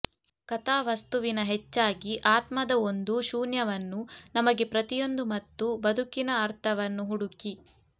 ಕಥಾವಸ್ತುವಿನ ಹೆಚ್ಚಾಗಿ ಆತ್ಮದ ಒಂದು ಶೂನ್ಯವನ್ನು ನಮಗೆ ಪ್ರತಿಯೊಂದು ಮತ್ತು ಬದುಕಿನ ಅರ್ಥವನ್ನು ಹುಡುಕಿ